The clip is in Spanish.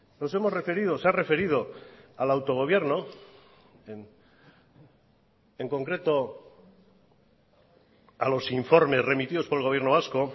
nos hemos referido se ha referido al autogobierno en concreto a los informes remitidos por el gobierno vasco